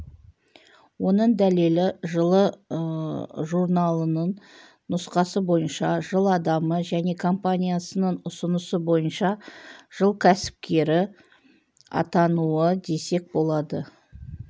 оның дәлелі жылы журналының нұсқасы бойынша жыл адамы және компаниясының ұсынысы бойынша жыл кәсіпкері атануы десек болады